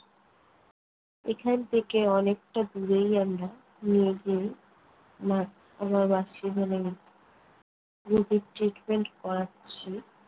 এখান থেকে অনেকটা দূরেই আমরা নিয়ে গিয়ে নাক রুগি treatment করাচ্ছি।